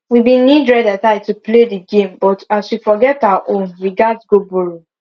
we been need red headtie to play the game but as we forget our own we gats go borrow